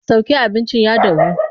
Sauke abincin ya dahu!